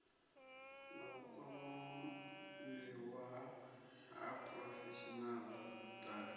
na vhukwamiwa ha phurofeshinaḽa dti